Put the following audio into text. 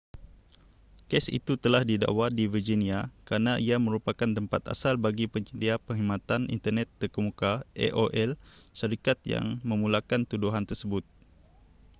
kes itu telah didakwa di virginia kerana ia merupakan tempat asal bagi penyedia perkhidmatan internet terkemuka aol syarikat yang memulakan tuduhan tersebut